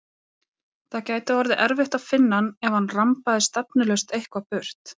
Það gæti orðið erfitt að finna hann ef hann rambaði stefnulaust eitthvað burt.